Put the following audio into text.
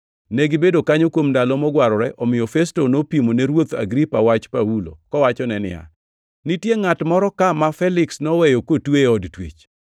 Negibedo kanyo kuom ndalo mogwarore, omiyo Festo nopimo ne ruoth Agripa wach Paulo, kowachone niya, “Nitie ngʼat moro ka ma Feliks noweyo kotwe e od twech.